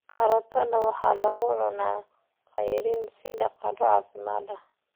Karootada waxaa lagu cunaa ceyriin sida qado caafimaad leh.